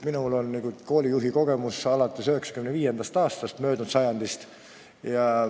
Minul on koolijuhi kogemus alates 95. aastast möödunud sajandil.